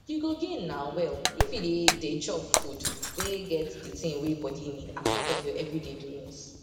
u go gain na well if you dey dey chop food wey get de tin wey body need as part of ur every day doings